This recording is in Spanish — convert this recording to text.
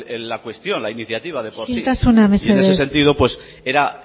la cuestión la iniciativa de por sí isiltasuna mesedez y en ese sentido pues era